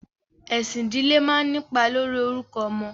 Ẹ̀sìn ìdílé máa ń nípa lórí orúkọ ọmọ.